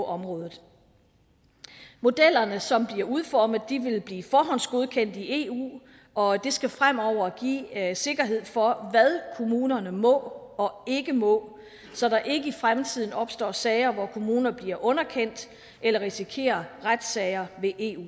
området modellerne som bliver udformet vil blive forhåndsgodkendt af eu og det skal fremover give sikkerhed for hvad kommunerne må og ikke må så der ikke i fremtiden opstår sager hvor kommuner bliver underkendt eller risikerer retssager ved eu